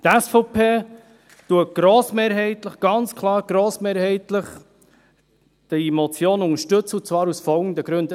Die SVP unterstützt diese Motion grossmehrheitlich – ganz klar: grossmehrheitlich –, und zwar aus den folgenden Gründen: